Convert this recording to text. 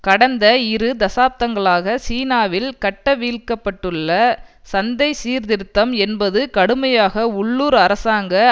கடந்த இரு தசாப்தங்களாக சீனாவில் கட்டவிழ்க்கப்பட்டுள்ள சந்தை சீர்திருத்தம் என்பது கடுமையாக உள்ளூர் அரசாங்க